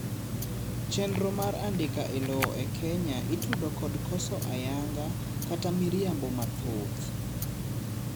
chenro mar andika e lowo e kenya itudo kod koso ayanga kata miriambo mathoth